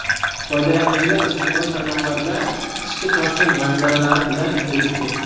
Foydalanuvchilar ijtimoiy tarmoqlarda qishki Toshkent manzaralari bilan bo‘lishdi.